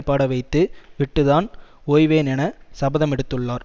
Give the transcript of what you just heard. பாட வைத்து விட்டு தான் ஓய்வேன் என சபதமெடுத்துள்ளார்